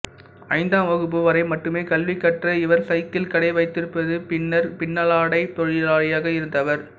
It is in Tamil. ஐந்தாம் வகுப்பு வரை மட்டுமே கல்வி கற்ற இவர் சைக்கிள் கடை வைத்திருந்து பின்னர் பின்னலாடைத் தொழிலாளியாக இருந்தவர்